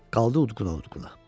Qaldı udquna-udquna.